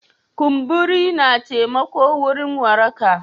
Kumburi na taimako wurin waraka.